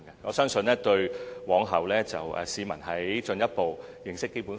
我相信這能有助市民日後進一步認識《基本法》。